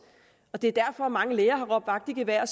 det er derfor mange læger har råbt vagt i gevær og